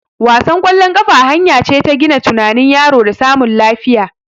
Wasan ƙwallon kafa hanya ce ta gina tunanin yaro da samun lafiya